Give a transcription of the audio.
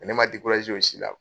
ne man o si la.